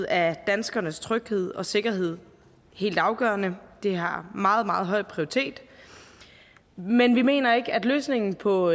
er danskernes tryghed og sikkerhed helt afgørende det har meget meget høj prioritet men vi mener ikke at løsningen på